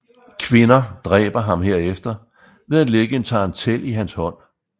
Kvinder dræber ham herefter ved at lægge en tarantel i hans hånd